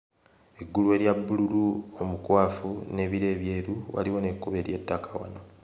Eggulu erya bbululu omukwafu n'ebire ebyeru. Waliwo n'ekkubo ery'ettaka.